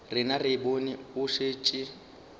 rena re bone o šetše